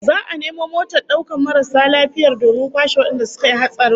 Za'a nemo motar daukar marasu lafiya domin kwashe wadanda suka yi hatsarin